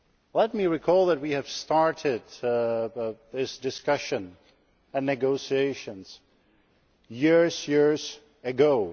Let me recall that we have started this discussion and negotiations years ago.